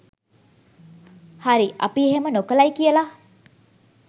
හරි අපි එහෙම නොකලයි කියලා